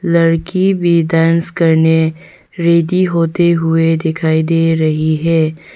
लड़की भी डांस करने रेडी होते हुए दिखाई दे रही है।